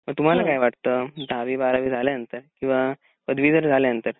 तर तुम्हाला काय वाटतं दहावी बारावी झाल्यानंतर किंवा पदवी झाल्यानंतर